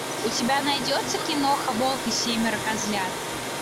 у тебя найдется киноха волк и семеро козлят